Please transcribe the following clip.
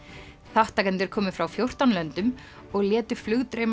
þátttakendur komu frá fjórtán löndum og létu